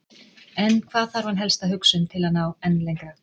En hvað þarf hann helst að hugsa um til að ná enn lengra?